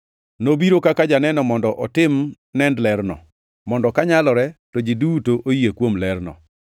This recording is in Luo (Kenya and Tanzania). Nobiro kaka janeno mondo otim nend lerno, mondo kanyalore to ji duto oyie kuom lerno.